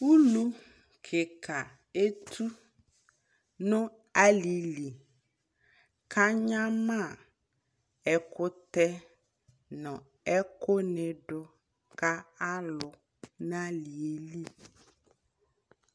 ʋlʋ kikaa ɛtʋ nʋ alili kʋ anyama ɛkʋtɛ nʋ ɛkʋ nidʋ ka alʋ nʋ aliɛ li